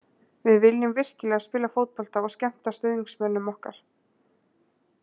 Við viljum virkilega spila fótbolta og skemmta stuðningsmönnum okkar.